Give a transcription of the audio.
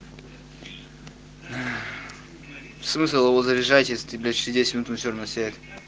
смысл его заряжать и стрелять через десять минут он все равно сядет